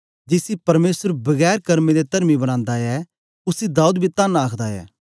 जिसी परमेसर बिना कर्मे दे तरमी बनांदा ऐ उसी दाऊद बी तन्न आखदा ऐ